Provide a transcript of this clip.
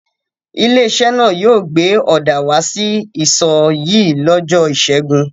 Ilé-iṣẹ́ náà yóò gbé ọ̀dà wá sí isọ̀ yìí lọ́jọ́ ìṣẹ́gun.